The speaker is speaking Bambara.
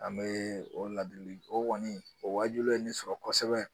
An bɛ o ladili o kɔni o wajulu ye ne sɔrɔ kosɛbɛ